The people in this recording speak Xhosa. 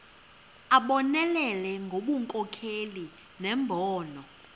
abonelele ngobunkokheli nembono